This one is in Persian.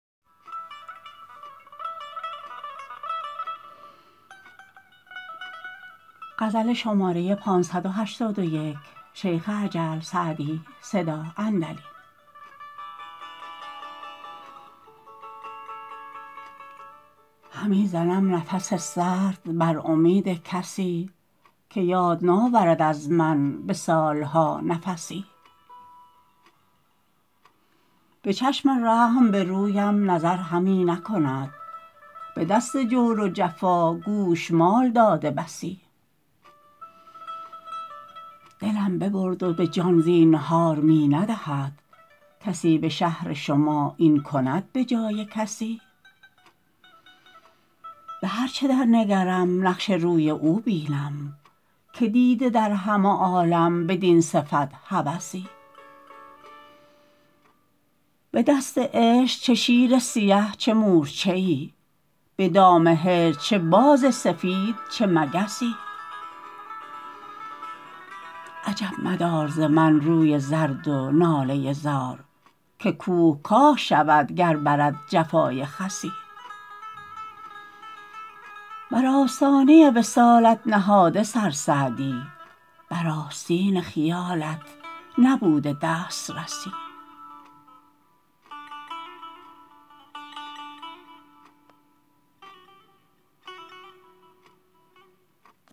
همی زنم نفس سرد بر امید کسی که یاد ناورد از من به سال ها نفسی به چشم رحم به رویم نظر همی نکند به دست جور و جفا گوشمال داده بسی دلم ببرد و به جان زینهار می ندهد کسی به شهر شما این کند به جای کسی به هر چه در نگرم نقش روی او بینم که دیده در همه عالم بدین صفت هوسی به دست عشق چه شیر سیه چه مورچه ای به دام هجر چه باز سفید چه مگسی عجب مدار ز من روی زرد و ناله زار که کوه کاه شود گر برد جفای خسی بر آستان وصالت نهاده سر سعدی بر آستین خیالت نبوده دسترسی